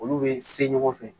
Olu bɛ se ɲɔgɔn fɛ